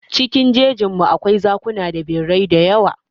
Cikin jejin mu, akwai zakuna da birrai dayawa.